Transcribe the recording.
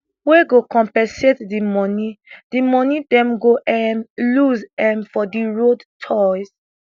wey go compensate di moni di moni dem go um lose um for di road tolls